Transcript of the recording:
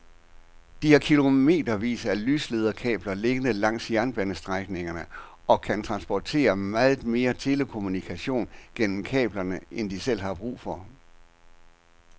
De har kilometervis af lyslederkabler liggende langs jernbanestrækningerne og kan transportere meget mere telekommunikation gennem kablerne end de selv har brug for.